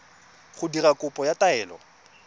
go dira kopo ya taelo